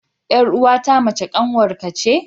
Ƴar'uwa ta mace kanwar ka ce.